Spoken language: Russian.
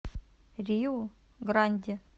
риу гранди